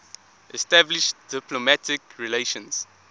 established diplomatic relations